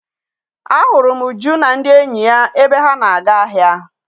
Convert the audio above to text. A hụrụ m Uju na ndị enyi ya ebe ha na-aga ahịa.